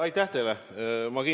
Aitäh teile!